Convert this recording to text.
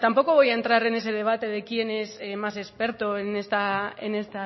tampoco voy a entrar en ese debate de quién es más experto en este